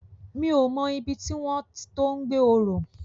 Mi ó mò ibi tiwòn to gbé òrò